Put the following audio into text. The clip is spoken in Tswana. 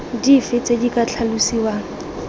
dife tse di ka tlhalosiwang